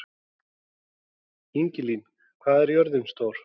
Ingilín, hvað er jörðin stór?